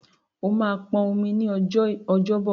O máa pọn omi ní ọjọ́ Ọjọ́bọ̀.